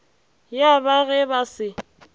ya ba ge ba se